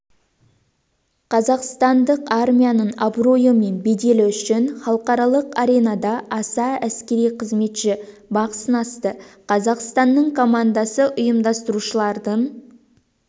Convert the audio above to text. қазақстандық армияның абыройы мен беделі үшін халықаралық аренада аса әскери қызметші бақ сынасты қазақстанның командасы ұйымдастырушылардың